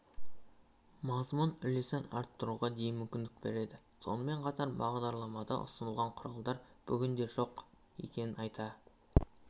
мазмұн үлесін арттыруға дейін мүмкіндік береді сонымен қатар бағдарламада ұсынылған құралдар бүгінде жоқ екенін айта